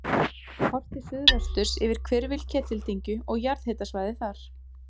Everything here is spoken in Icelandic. Horft til suðvesturs yfir hvirfil Ketildyngju og jarðhitasvæðið þar.